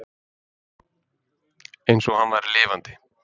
Eins og hann væri lifandi.